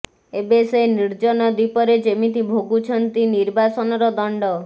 ଏବେ ସେ ନିର୍ଜନ ଦ୍ୱୀପରେ ଯେମିତି ଭୋଗୁଛନ୍ତି ନିର୍ବାସନର ଦଣ୍ଡ